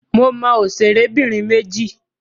Mo mọ òṣèrẹ́bìnrin méjì.